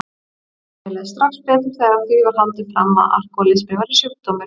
Mér leið strax betur þegar því var haldið fram að alkohólismi væri sjúkdómur.